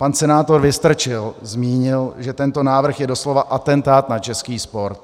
Pan senátor Vystrčil zmínil, že tento návrh je doslova atentátem na český sport.